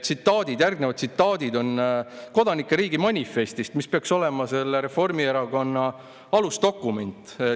Järgnevad tsitaadid on "Kodanike riigi manifestist", mis peaks olema Reformierakonna alusdokument.